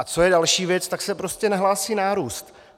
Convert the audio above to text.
A co je další věc - tak se prostě nahlásí nárůst.